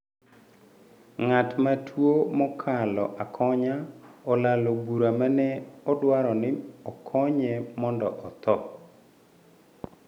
Ng’at ma tuo mokalo akonya, olalo bura mane odwaro ni okonye mondo otho